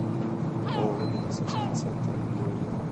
ооо медицинский центр биоритм